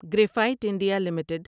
graphite India limited